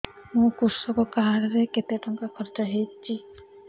ମୋ କୃଷକ କାର୍ଡ ରେ କେତେ ଟଙ୍କା ଖର୍ଚ୍ଚ ହେଇଚି